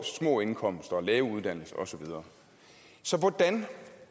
små indkomster lave uddannelser og så videre så hvordan